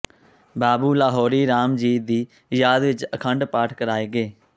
ਬਾਬੂ ਲਾਹੌਰੀ ਰਾਮ ਜੀ ਦੀ ਯਾਦ ਵਿਚ ਅਖੰਡ ਪਾਠ ਕਰਾਏ ਗਏ